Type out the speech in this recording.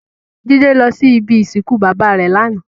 Jide lò si ibi isinkún baba rè làná